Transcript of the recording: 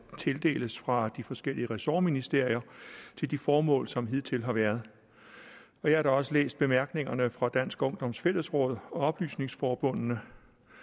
tildeles fra de forskellige ressortministerier til de formål som hidtil har været jeg har da også læst bemærkningerne fra dansk ungdoms fællesråd og oplysningsforbundene